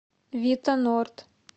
вита норд